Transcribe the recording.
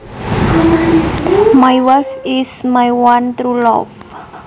My wife is my one true love